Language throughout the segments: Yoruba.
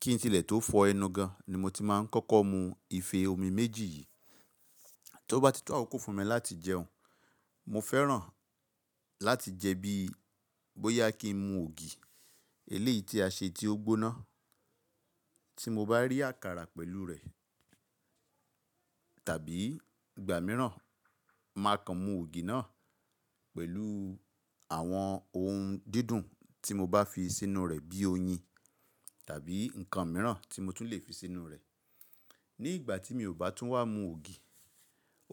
Kí n tilẹ̀ tó fọ ẹnu gan ni mo ti máa ń kọ́kọ́ mu ife omi méjì yìí. Tí ó bá ti tú àwọn kò fún mi láti jẹun, mo fẹ́ràn láti jẹ bí i bóyá kí n mu ògì eléyìí tí a ṣe tí ó gbóná tí mo bá rí àkàrà pẹ̀lú rẹ̀ tàbí ìgbà mìíràn máa kan mu ògì náà pẹ̀lù àwọn ohun dídùn tí mo bá fi sínú rẹ̀ bí i oyin tàbí nǹkan míràn tí mo tún lè fi sínú rẹ̀. Ní ìgbà tí mi ò bá tún wá mu ògì,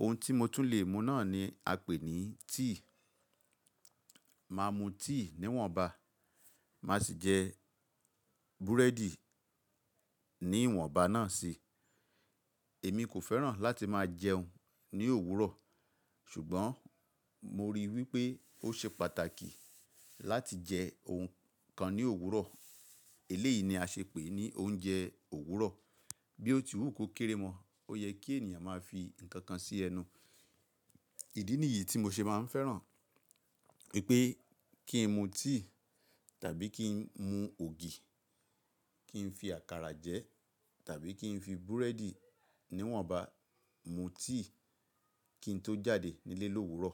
ohun tí mo tún lè mu náà ni a pè ní tíì. Máa mu tíì níwọ̀nba, màá sì jẹ búrẹ́dì níwọ̀nba náà si. Èmi kò fẹ́ràn láti máa jẹun ní òwúrọ̀ ṣùgbọ́n mo ríi wípé ó ṣe pàtàkì láti jẹ ohun kan ní òwúrọ̀. Eléyìí ni a ṣe pè ní oúnjẹ òwúrọ̀. Bí ó ti wù kó kéré mọ́, ó yẹ kí ènìyàn máa fi ǹkan kan sí ẹnu. Ìdí nìyí tí mo ṣe máa ń fẹ́ràn wípé kí n mu tíì tàbí kí n mu ògì, kí n fi àkàrà jẹ tàbí kí n fi búrẹ́dì níwọ̀nba mu tíì kí n tó jáde nílé lóúró.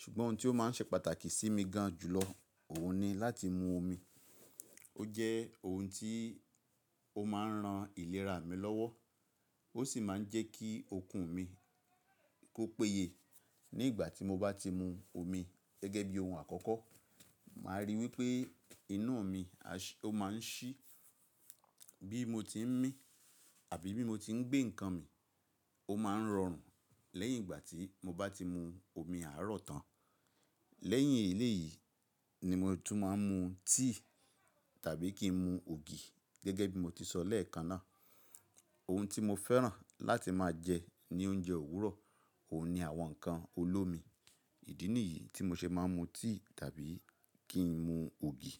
Ṣùgbọ́n ohun tí ó máa ń ṣe pàtàkì sí mi gan jùlọ, òun ni láti mu omi. Ó jẹ́ ohun tí ó máa ń ran ìlera mi lọ́wọ́, ó sì máa ń jẹ́ kí okun mi kó péye. Ní ìgbà tí mo bá ti mu omi gẹ́gẹ́ bí ohun àkọ́kọ́, màá rí i wípé iná mi a ṣé, ó máa ń ṣí bí mo tí ń mí tàbí bí mo tí ń gbé ǹkan mi. Ó máa ń rọrùn lẹ́yìn ìgbà tí mo bá ti mu omi àárọ̀ tán. Lẹ́yìn èyí eyí ni mo tún máa ń mu tíì tàbí kí n mu ògì gẹ́gẹ́ bí mo ti sọ lẹ́ẹ̀kan náà. Ohun tí mo fẹ́ràn láti máa jẹ ní oúnjẹ òwúrọ̀, òun ni àwọn ǹkan olómi. Ìdí nìyí tí mo ṣe máa ń mu tíì tàbí kí n mu ògì.